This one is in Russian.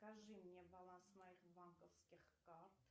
скажи мне баланс моих банковских карт